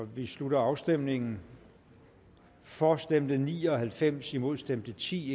vi slutter afstemningen for stemte ni og halvfems imod stemte ti